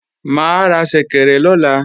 Mà á ra ṣẹ̀kẹ̀rẹ̀ lọ̀la